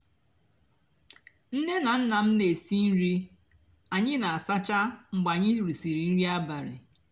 nné nà nná m nà-èsi nri ányị nà-àsáchá mgbe ànyí rìsịrị nrì abálị.